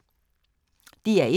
DR1